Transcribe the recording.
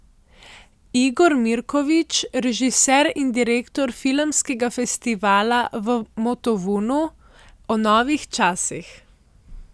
Igor Mirković, režiser in direktor filmskega festivala v Motovunu, o novih časih.